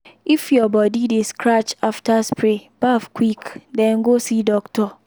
if your body dey scratch after spray baff quick den go see doctor.